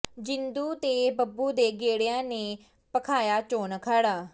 ਜਿੰਦੂ ਤੇ ਬੱਬੂ ਦੇ ਗੇੜਿਆ ਨੇ ਭਖਾਇਆ ਚੋਣ ਅਖਾੜਾ